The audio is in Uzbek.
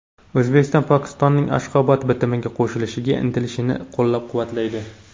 O‘zbekiston Pokistonning Ashxobod bitimiga qo‘shilishga intilishini qo‘llab-quvvatlaydi.